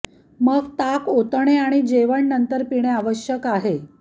मग ताण ओतणे आणि जेवण नंतर पिणे आवश्यक आहे